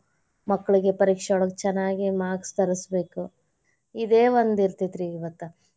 ಮಕ್ಕಳಿಗೆ ಪರೀಕ್ಷೆದೊಳಗ್ ಚನ್ನಾಗಿ marks ತರಸಬೇಕ್, ಇದೆ ಒಂದ್ ಇರ್ತೇತಿರಿ ಇವತ್ತ್.